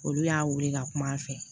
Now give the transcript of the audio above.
Olu y'a wele ka kuma an fɛ